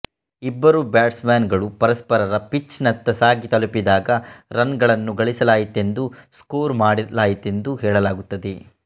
ಇಬ್ಬರು batsman ಗಳೂ ಪರಸ್ಪರರ ಪಿಚ್ ನತ್ತ ಸಾಗಿ ತಲುಪಿದಾಗ ರನ್ ಗಳನ್ನು ಗಳಿಸಲಾಯಿತೆಂದುಸ್ಕೋರ್ ಮಾಡಲಾಯಿತೆಂದು ಹೇಳಲಾಗುತ್ತದೆ